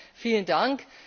Daher Vielen Dank!